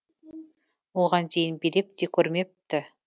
оған дейін билеп те көрмепті